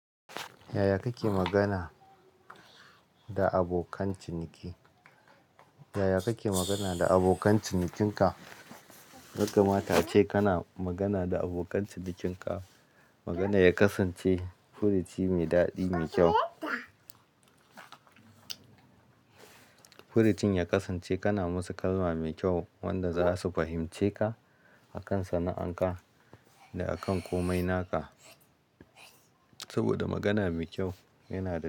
Yaya kake magana da abokan ciniki? Yaya kake magana da abokan cinikin ka? Ya kamata ace kana magana da abokan cinikin ka. Maganar ya kasance furuci mai dadi mai kyau. Furucin ya kasance kana musu kalma mai kyau wanda za su fahimce ka akan sana'an ka da akan komai naka. Saboda magana mai kyau yana da dadi.